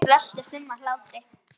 Þau veltust um af hlátri.